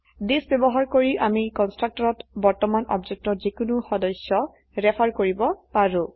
this ব্যবহাৰ কৰি আমি কন্সট্ৰকটৰত বৰ্তমান অবজেক্টৰ যিকোনো সদস্য ৰেফাৰ কৰিব পাৰো